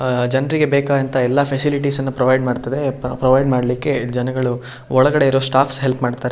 ಅಅ ಜನರಿಗೆ ಬೇಕಾದಂತಹ ಫ್ಯಸಿಲಿಟೀಸ್ ಪ್ರೊವೈಡ್ ಮಾಡ್ತದೆ ಪ್ರ ಪ್ರೊವೈಡ್ ಮಾಡ್ಲಿಕ್ಕೆ ಜನಗಳು ಒಳಗಡೆ ಇರೋ ಸ್ಟಾಫ್ಸ್ ಹೆಲ್ಪ್ ಮಾಡ್ತಾರ.